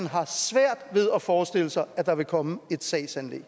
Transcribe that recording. har svært ved at forestille sig at der vil komme et sagsanlæg